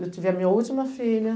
Eu tive a minha última filha.